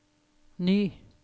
ny